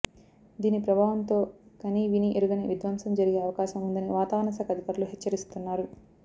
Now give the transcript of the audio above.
దీని ప్రభావంతో కనీవినీ ఎరుగని విధ్వంసం జరిగే అవకాశం ఉందని వాతావరణ శాఖ అధికారులు హెచ్చరిస్తున్నారు